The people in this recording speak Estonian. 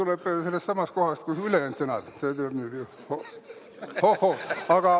See tuleb sellestsamast kohast, kust ülejäänud sõnad.